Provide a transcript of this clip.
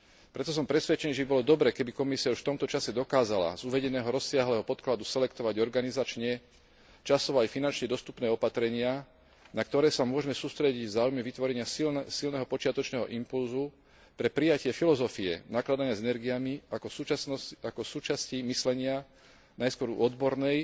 Preto som presvedčený, že by bolo dobré, keby Komisia už v tomto čase dokázala z uvedeného rozsiahleho podkladu selektovať organizačne, časovo aj finančne dostupné opatrenia, na ktoré sa môžme sústrediť v záujme vytvorenia silného počiatočného impulzu pre prijatie filozofie nakladania s energiami ako súčasti myslenia, najskôr u odbornej,